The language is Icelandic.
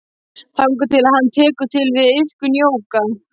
Þangað til að hann tekur til við iðkun jóga.